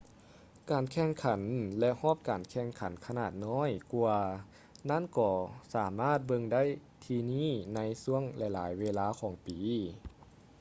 ການແຂ່ງຂັນ ແລະ ຮອບການແຂ່ງຂັນຂະໜາດນ້ອຍກວ່ານັ້ນກໍສາມາດເບິ່ງໄດ້ທີ່ນີ້ໃນຊ່ວງຫຼາຍໆເວລາຂອງປີ